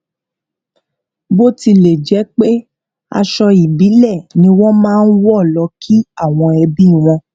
bo tile jẹ pé aṣọ ibile ni won máa n wo lọ ki awon ebi won